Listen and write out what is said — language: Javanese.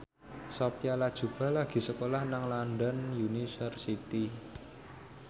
Sophia Latjuba lagi sekolah nang London University